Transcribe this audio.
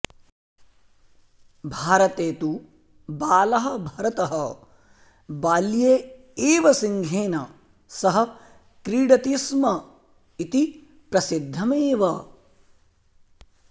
भारते तु बालः भरतः बाल्ये एव सिंहेन सह क्रीडति स्म इति प्रसिद्धमेव